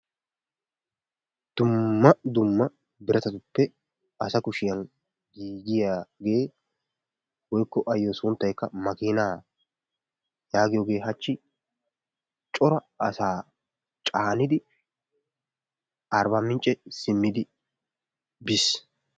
Dumma dumma biratatuppe asa kushiyan giigiiyage woykko ayyo sunttaykka makiinaa yaagiyaogee hachchi cora asaa caanidi arbbaamincce simmidi bis.